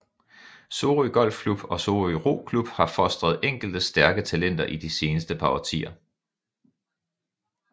Sorø Golfklub og Sorø Roklub har fostret enkelte stærke talenter i de sidste par årtier